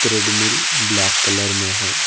Treadmill black colour में है।